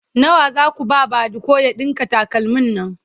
nawa Zaku ba badiko ya ɗinka takalmin Nan?